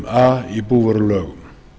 a í búvörulögum